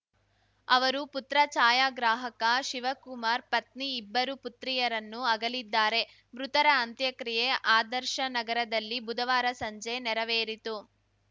ಅವರು ಪುತ್ರ ಛಾಯಾಗ್ರಾಹಕ ಶಿವಕುಮಾರ್‌ ಪತ್ನಿ ಇಬ್ಬರು ಪುತ್ರಿಯರನ್ನು ಅಗಲಿದ್ದಾರೆ ಮೃತರ ಅಂತ್ಯಕ್ರಿಯೆ ಆದರ್ಶನಗರದಲ್ಲಿ ಬುಧವಾರ ಸಂಜೆ ನೆರವೇರಿತು